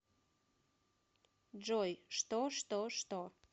джой что что что